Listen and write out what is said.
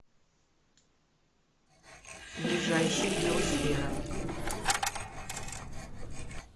ближайший биосфера